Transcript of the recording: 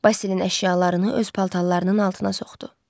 Basilin əşyalarını öz paltarlarının altına soxdu.